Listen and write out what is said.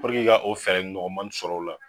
Puruke ka fɛɛrɛ ɲɔgɔmani sɔrɔ o la